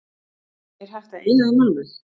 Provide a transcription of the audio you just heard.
Er hægt að eyða þeim alveg?